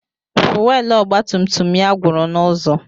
Fuwelu ọgba tum tum ya gwụrụ n'ụzọ.